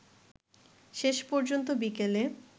শেষপর্যন্ত বিকেলে